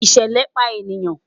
ìṣẹlẹ pa eniyan